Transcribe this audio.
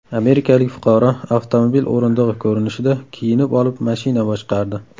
Amerikalik fuqaro avtomobil o‘rindig‘i ko‘rinishida kiyinib olib mashina boshqardi .